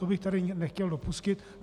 To bych zde nechtěl dopustit.